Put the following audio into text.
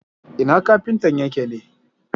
Ina kafintan yake ne?